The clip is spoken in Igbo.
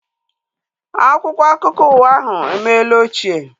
Akwụkwọ akụkọ ụwa ahu emela ochie